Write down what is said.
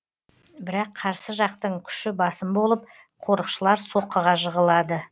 бірақ қарсы жақтың күші басым болып қорықшылар соққыға жығылады